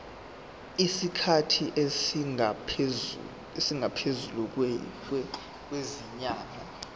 isikhathi esingaphezulu kwezinyanga